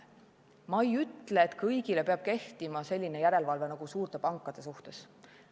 Ma ei ütle, et kõigile peab kehtima selline järelevalve nagu suurte pankade suhtes.